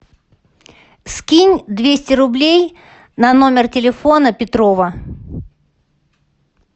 скинь двести рублей на номер телефона петрова